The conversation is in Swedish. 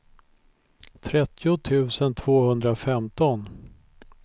trettio tusen tvåhundrafemton